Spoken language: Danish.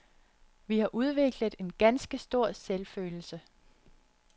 Vi har udviklet en ganske stor selvfølelse.